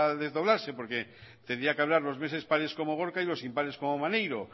desdoblarse porque tendría que hablar los meses pares como gorka y los impares como maneiro